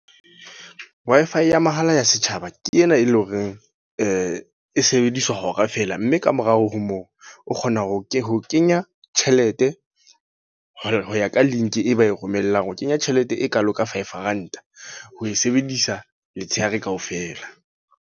Wi-Fi ya mahala ya setjhaba, ke ena e leng hore e sebediswa hora fela. Mme kamorao ho moo, o kgona ho ke ho kenya tjhelete ho ya ka link e ba e romellang. O kenya tjhelete e kalo ka five Rand, ho e sebedisa letshehare kaofela.